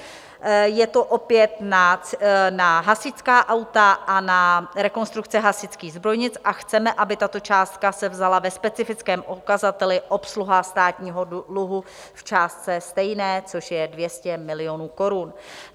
Je to opět na hasičská auta a na rekonstrukce hasičských zbrojnic a chceme, aby tato částka se vzala ve specifickém ukazateli Obsluha státního dluhu v částce stejné, což je 200 milionů korun.